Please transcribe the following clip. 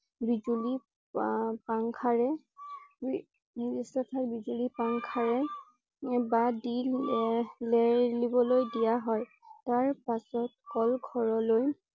বিজুলী পা fan ৰে নিৰ্দিষ্ট ঠাইত বিজুলী পা fan ৰে লেৱা দি লেৰেলিবলৈ দিয়া হয়। তাৰ পিছত কল ঘৰলৈ